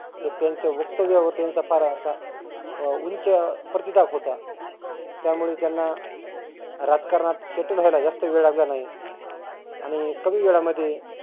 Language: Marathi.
एक त्यांच्या वक्तव्यावर त्याचा फार असा अं उंच प्रतीताप होता. त्यामुळे त्यांना राजकारणात settel व्हायला जास्त वेळ लागला नाही. आणि कमी वेळामध्ये